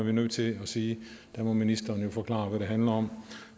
er nødt til at sige ministeren må forklare hvad handler om